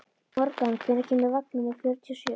Morgan, hvenær kemur vagn númer fjörutíu og sjö?